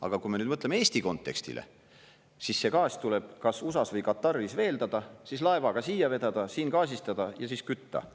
Aga kui me nüüd mõtleme Eesti kontekstile, siis see gaas tuleb kas USA-s või Kataris veeldada, siis laevaga siia vedada, siin gaasistada ja siis kütta.